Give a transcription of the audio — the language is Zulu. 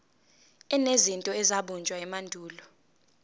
enezinto ezabunjwa emandulo